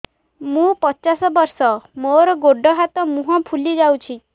ମୁ ପଚାଶ ବର୍ଷ ମୋର ଗୋଡ ହାତ ମୁହଁ ଫୁଲି ଯାଉଛି